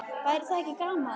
Væri það ekki gaman?